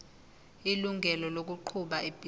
ilungelo lokuqhuba ibhizinisi